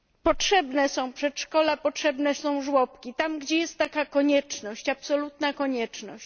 Potrzebne są przedszkola, potrzebne są żłobki, tam gdzie jest taka konieczność, absolutna konieczność.